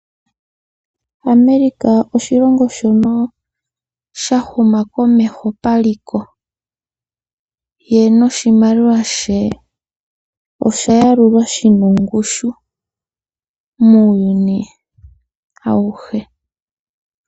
America oshilongo shono sha huma komeho paliko, ye noshimaliwa she osha yalulwa shina ongushu muuyuni awuhe.